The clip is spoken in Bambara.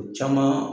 O caman